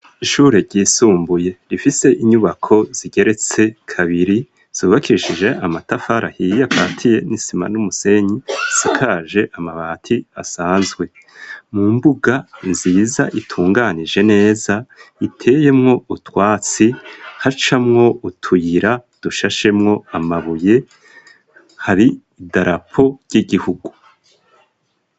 Ishure ryisumbuye rifise inyubako zigeretse kabiri zubakishije amatafari ahiye akatiye n'isima n'umusenyi, isakaje amabati asanzwe. Mu mbuga nziza itunganije neza iteyemwo utwatsi, hacamwo utuyira dushashemwo amabuye, hari idarapo ry'igihugu.